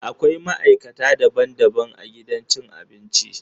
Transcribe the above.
Akwai maikata daban-daban a gidan cin abinci